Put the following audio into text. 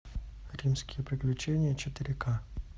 римские приключения четыре ка